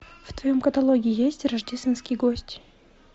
в твоем каталоге есть рождественский гость